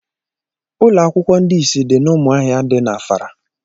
Ụlọakwụkwọ ndị isi dị n'ụmụahia dị n'Afara